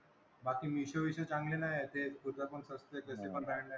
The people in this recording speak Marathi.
बाकी मीशो बीशो चांगले नाही आहेत. ते कुठलं पण सस्ते कसे पण brand आहेत.